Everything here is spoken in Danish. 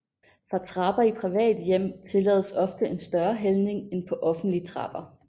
For trapper i private hjem tillades ofte en større hældning end på offentlige trapper